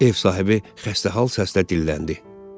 Ev sahibi xəstə hal səslə dilləndi.